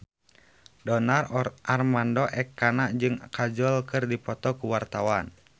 Donar Armando Ekana jeung Kajol keur dipoto ku wartawan